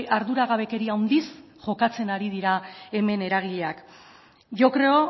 arduragabekeria handiz jokatzen ari dira hemen eragileak yo creo